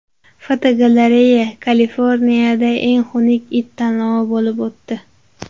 Fotogalereya: Kaliforniyada eng xunuk it tanlovi bo‘lib o‘tdi.